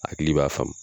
Hakili b'a faamu